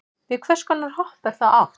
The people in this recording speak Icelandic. við hvers konar hopp er þá átt